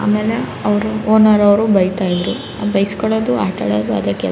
ಆಮೇಲೆ ಅವ್ರು ಓನರ್ ಅವ್ರು ಬೈತಾ ಇದ್ರೂ. ಬೈಸ್ಕೊಳ್ಳೋದು ಆಟ ಆಡೋದು ಅದೇ ಕೆಲ --